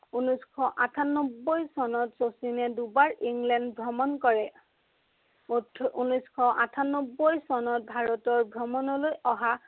ঊনৈচশ আঠান্নব্বৈ চনত শচীনে দুবাৰ ইংলেণ্ড ভ্ৰমণ কৰে। ঊনৈচশ আঠান্নব্বৈ চনত ভাৰতৰ ভ্ৰমণলৈ অহা